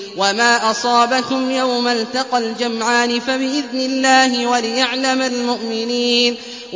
وَمَا أَصَابَكُمْ يَوْمَ الْتَقَى الْجَمْعَانِ فَبِإِذْنِ اللَّهِ وَلِيَعْلَمَ الْمُؤْمِنِينَ